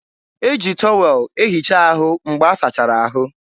e ji tọwel ehicha ahụ mgbe a sachara ahụ.